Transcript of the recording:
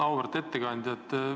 Auväärt ettekandja!